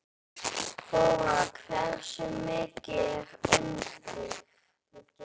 Þóra: Hversu mikið er undir?